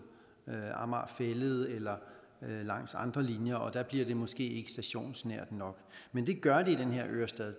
amager fælled eller langs andre linjer og der bliver det måske ikke stationsnært nok men det gør det i den her ørestad